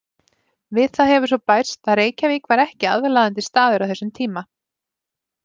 Við það hefur svo bæst að Reykjavík var ekki aðlaðandi staður á þessum tíma.